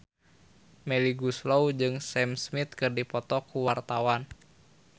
Melly Goeslaw jeung Sam Smith keur dipoto ku wartawan